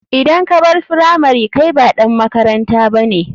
Idan kabar firamari kai ba ɗan makaranta bane.